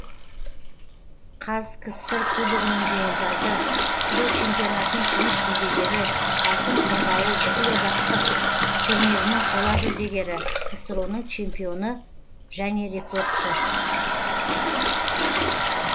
қазкср і кубогінің жеңімпазы ксро чемпионатының күміс жүлдегері алтын қырғауыл бүкілодактық турнирінің қола жүлдегері ксро ның чемпионы және рекордшы